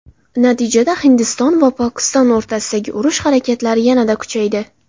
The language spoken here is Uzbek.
Natijada, Hindiston va Pokiston o‘rtasidagi urush harakatlari yanada kuchaydi.